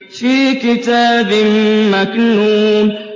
فِي كِتَابٍ مَّكْنُونٍ